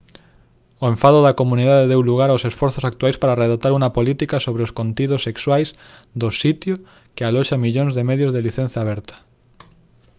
o enfado da comunidade deu lugar aos esforzos actuais para redactar unha política sobre os contidos sexuais do sitio que aloxa millóns de medios de licenza aberta